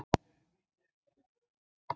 VARNARLEYSI mannsins er algjört.